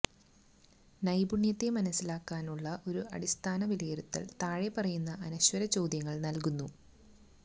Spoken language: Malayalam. നൈപുണ്യത്തെ മനസ്സിലാക്കാനുള്ള ഒരു അടിസ്ഥാന വിലയിരുത്തൽ താഴെപ്പറയുന്ന അനശ്വര ചോദ്യങ്ങൾ നൽകുന്നു